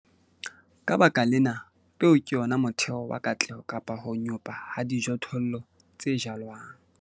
Ka baka lena, peo ke yona motheo wa katleho kapa ho nyopa ha dijothollo tse jalwang.